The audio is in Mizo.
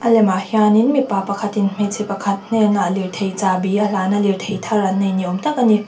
lemah hianin mipa pakhatin hmeichhe pakhat hnenah lirthei chahbi a hlan a lirthei thar an nei ni awm tak a ni.